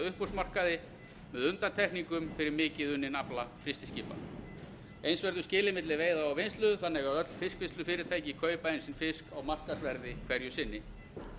uppboðsmarkaði með undantekningum fyrir mikið unninn afla frystiskipa eins verður skilið milli veiða og vinnslu þannig að öll fiskvinnslufyrirtæki kaupa inn sinn fisk á markaðsverði hverju sinni